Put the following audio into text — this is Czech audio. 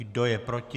Kdo je proti?